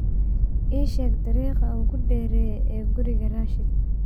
ii sheeg dariiqa ugu dheereeya ee guriga rashiid